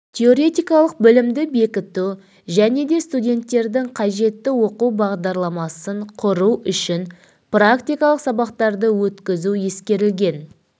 теоретикалық білімді бекіту және де студенттердің қажетті оқу бағдарламасын құру үшін практикалық сабақтарды өткізу ескерілген